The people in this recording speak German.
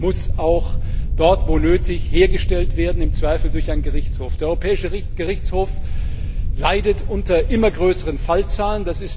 Recht muss auch dort, wo nötig, hergestellt werden, im Zweifel durch einen Gerichtshof. Der Europäische Gerichtshof leidet unter immer größeren Fallzahlen.